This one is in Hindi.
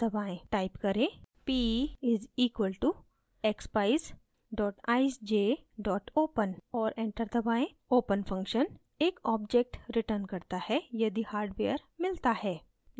type करें: p = expeyes eyesj open और enter दबाएँ open function एक object returns करता है यदि हार्डवेयर मिलता है